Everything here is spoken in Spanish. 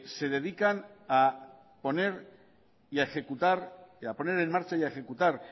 se dedican a poner en marcha y a ejecutar